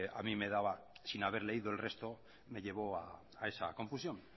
a mí me daba sin haber leído el resto me llevó a esa confusión